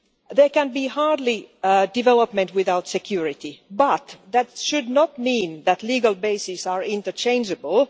There can hardly be development without security, but that should not mean that legal bases are interchangeable.